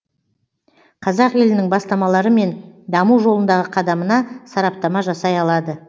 қазақ елінің бастамалары мен даму жолындағы қадамына сараптама жасай алады